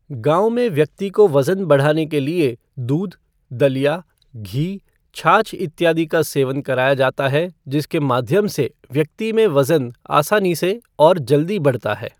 गाँव में व्यक्ति को वजन बढ़ाने के लिए दूध, दलिया, घी, छाछ इत्यादि का सेवन कराया जाता है जिसके माध्यम से व्यक्ति में वजन आसानी से और जल्दी बढ़ता है